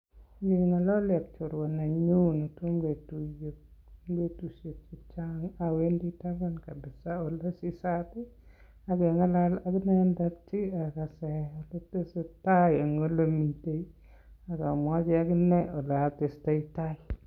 Ngengalali ak chorwa nenyu netomo ke tunye eng betushek chechang awendi taban ole sisat ak me ng'alal ak inendet akase oletestoi tai eng ole mitei ak amwochi akinee ole atestai tai